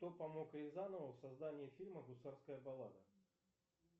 кто помог рязанову в создании фильма гусарская баллада